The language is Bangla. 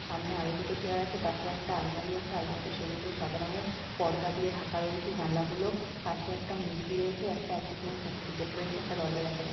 সামনে আরো দুটো চেয়ার আছে পাশে একটা আলমারি আছে। আলমারিটা সবুজ ও সাদা রংয়ের পর্দা দিয়ে ঢাকা রয়েছে। জানলা গুলোর পাশে একটা মূর্তি রয়েছে। একটা এচিভমেন্ট সার্টিফিকেট রয়েছে একটা দরজা দেখা যাচ্ছে।